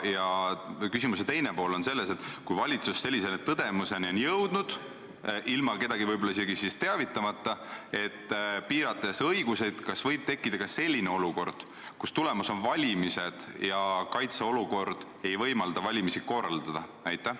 Ja küsimuse teine pool on selline: kui valitsus sellise tõdemuseni on jõudnud, ilma kedagi võib-olla isegi teavitamata, kas siis võib õigusi piirates tekkida olukord, et tulemas on valimised, aga kaitseolukord ei võimalda valimisi korraldada?